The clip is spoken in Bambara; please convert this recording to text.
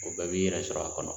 O bɛɛ b'i yɛrɛ sɔrɔ a kɔnɔ.